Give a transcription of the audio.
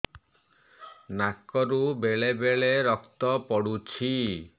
ନାକରୁ ବେଳେ ବେଳେ ରକ୍ତ ପଡୁଛି